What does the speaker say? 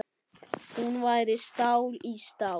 Hún væri stál í stál.